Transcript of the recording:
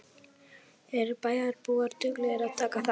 Eru bæjarbúar duglegir að taka þátt?